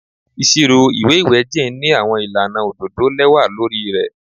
Iṣiro iwe iwẹ Jane ni awọn ilana ododo lẹwa lori rẹ